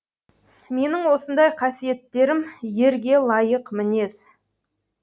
менің осындай қасиеттерім ерге лайық мінез